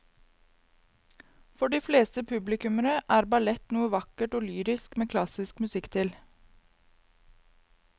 For de fleste publikummere er ballett noe vakkert og lyrisk med klassisk musikk til.